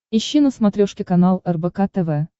ищи на смотрешке канал рбк тв